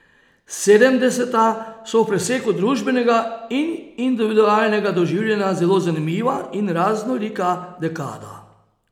Sedemdeseta so v preseku družbenega in individualnega doživljanja zelo zanimiva in raznolika dekada.